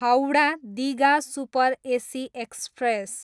Howrah, Digha super AC express